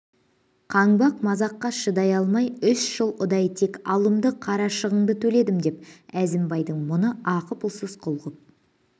қаңбақ мазаққа шыдай алмай үш жыл ұдай тек алымды қарашығынды төледім деп әзімбайдың мұны ақы-пұлсыз құл ғып